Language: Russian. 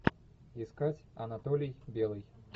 искать анатолий белый